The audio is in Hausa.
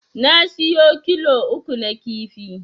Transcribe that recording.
Ya siyo kilo uku na kifi